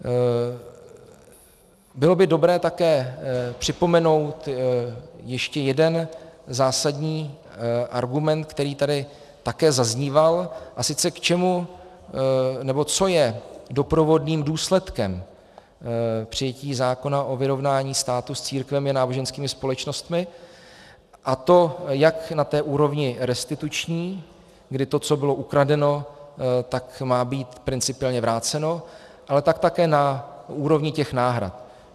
Bylo by dobré také připomenout ještě jeden zásadní argument, který tady také zazníval, a sice k čemu, nebo co je doprovodným důsledkem přijetí zákona o vyrovnání státu s církvemi a náboženskými společnostmi, a to jak na té úrovni restituční, kdy to, co bylo ukradeno, tak má být principiálně vráceno, ale tak také na úrovni těch náhrad.